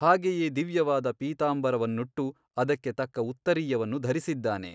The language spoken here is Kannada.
ಹಾಗೆಯೇ ದಿವ್ಯವಾದ ಪೀತಾಂಬರವನ್ನಟ್ಟು ಅದಕ್ಕೆ ತಕ್ಕ ಉತ್ತರೀಯವನ್ನು ಧರಿಸಿದ್ದಾನೆ.